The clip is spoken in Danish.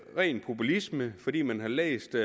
ren populisme fordi man har læst